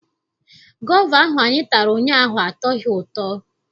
Gova ahụ anyị tara ụnyaahụ atọghị ụtọ.